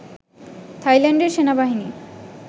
থাইল্যান্ডের সেনাবাহিনী